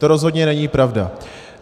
To rozhodně není pravda.